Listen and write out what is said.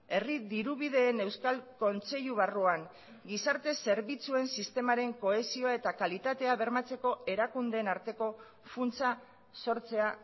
herri dirubideen euskal kontseilu barruan gizarte zerbitzuen sistemaren kohesioa eta kalitatea bermatzeko erakundeen arteko funtsa sortzea